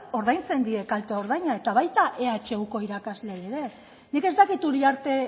ordaintzen die kalte ordaina eta baita ehuko irakasleei ere nik ez dakit uriarte